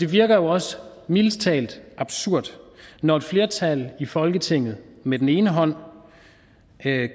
det virker jo også mildest talt absurd når et flertal i folketinget med den ene hånd